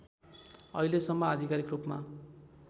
अहिलेसम्म आधिकारिक रूपमा